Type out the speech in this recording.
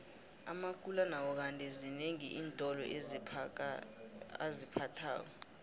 amakula nawo kandi zinengi iintolo aziphathako